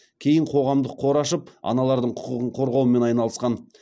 кейін қоғамдық қор ашып аналардың құқығын қорғаумен айналысқан